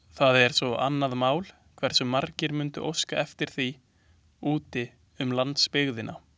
Það er svo annað mál, hversu margir mundu óska eftir því úti um landsbyggðina.